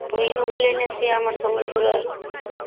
ମୁଇଁ ନୁ ବୁଲେଇଲେ ସିଏ ଆମେ ସମ୍ବଲପୁରର